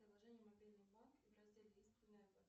приложение мобильный банк